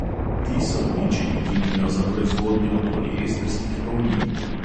Ti so uničili linijo za proizvodnjo poliestrskih polnil.